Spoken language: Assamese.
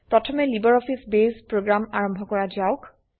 প্ৰথমে লাইব্ৰঅফিছ বেস প্ৰোগ্ৰাম আৰম্ভ কৰা যাওক